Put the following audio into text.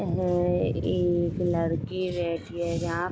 यह एक लड़की रहती है यहां --